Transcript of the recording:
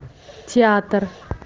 театр